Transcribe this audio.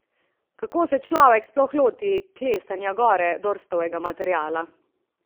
Kako se človek sploh loti klestenja gore Dorstovega materiala?